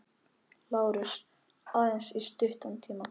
LÁRUS: Aðeins í stuttan tíma.